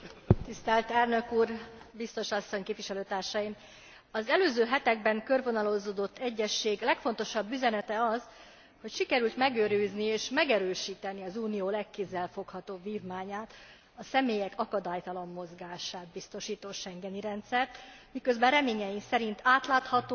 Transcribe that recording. Az előző hetekben körvonalazódott egyezség legfontosabb üzenete az, hogy sikerült megőrizni és megerősíteni az Unió legkézzelfoghatóbb vívmányát, a személyek akadálytalan mozgását biztosító schengeni rendszert, miközben reményeink szerint átláthatóbbá és hatékonyabbá is tettük e rendszert.